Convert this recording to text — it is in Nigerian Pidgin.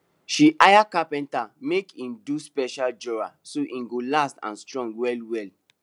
she hire carpenter make e do special drawer so e go last and strong well well